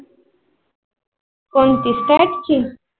कोणती state ची